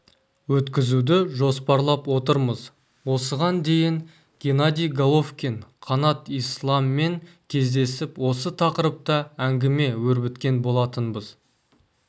өткізуді жоспарлап отырмыз осыған дейін геннадий головкин қанат исламмен кездесіп осы тақырыпта әңгіме өрбіткен болатынбыз